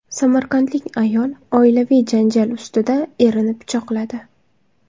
Samarqandlik ayol oilaviy janjal ustida erini pichoqladi.